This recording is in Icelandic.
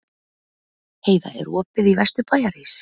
Heida, er opið í Vesturbæjarís?